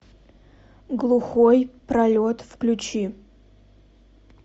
глухой пролет включи